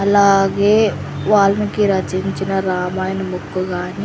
అలాగే వాల్మీకి రచించిన రామాయణ బుక్కు గాని--